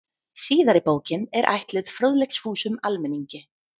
Síðari bókin er ætluð fróðleiksfúsum almenningi.